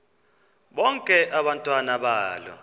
bonke abantwana balo